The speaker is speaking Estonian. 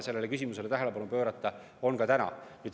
Sellele küsimusele tuleb tähelepanu pöörata ka täna.